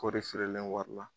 Kɔri feerelen wari la